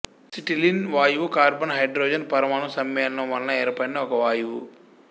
acetylene వాయువు carbon hydrogen పరమాణు సమ్మేళనం వలన ఏర్పడిన ఒక వాయువు